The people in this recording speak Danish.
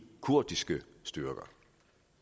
kurdiske styrker